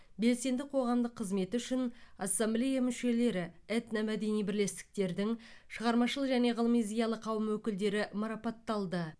белсенді қоғамдық қызметі үшін ассамблея мүшелері этномәдени бірлестіктердің шығармашыл және ғылыми зиялы қауым өкілдері марапатталды